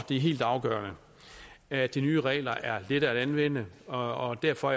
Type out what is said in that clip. er helt afgørende at de nye regler er lette at anvende og derfor